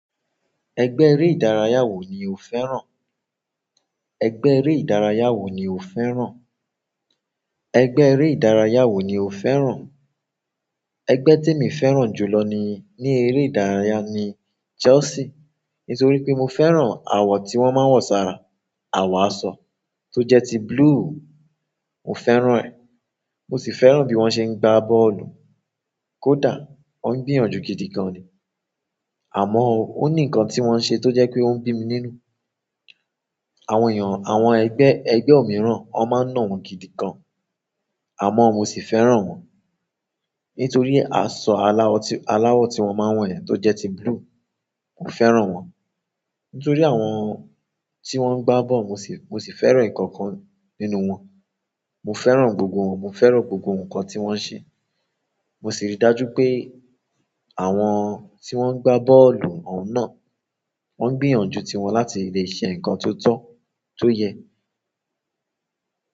Ẹgbẹ́ eré ìdárayá wo ni o fẹ́ràn? Ẹgbẹ́ eré ìdárayá wo ni o fẹ́ràn? Ẹgbẹ́ eré ìdárayá wo ni o fẹ́ràn? Ẹgbẹ́ temi fẹ́ràn jù lọ ní, ní eré ìdárayá ni Chelsea. Nítorí pé mo fẹ́ràn àwọ̀ tí wọ́n máa ń wọ̀ sára, àwọ̀ aṣọ tó jẹ́ ti blue. Mo fẹ́ràn ẹ. Mo si fẹ́ràn bi won se n gba bọ́ọ̀lù kódà wọ́n ń gbìyànjú gidi gan ni. Àmọ́ ó o ní nǹkan tí wọ́n ń ṣe tó jẹ́ pé ó ń bí mi nínú. Àwọn èèyàn, àwọn ẹgbẹ́, ẹgbẹ́ òmíràn on máa n na wọ́n gidi gan. Àmọ́ mo sì fẹ́ràn wọ́n. Nítorí aṣọ aláwọ̀ tí, aláwọ̀ tí wọ́n máa ń wọ̀ yen tó jẹ́ ti blue. Mo fẹ́ràn wọ́n. Nítorí àwọn tí wọ́n ń gbá ball mo sì, mo sì fẹ́ràn ikookan nínú wọn. Mo fẹ́ràn gbogbo wọn, mo fẹ́ràn gbogbo nǹkan tí wọ́n ń ṣe. Mo sì rí i dájú pé àwọn tí wọ́n ń gbá bọ́ọ̀lù ọ̀ún náà wọ́n ń gbìyànjú ti wọn láti lè ṣe nǹkan tó tọ́, tó yẹ.